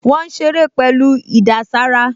Wọ́n ń ṣeré pẹ̀lú ìdàsára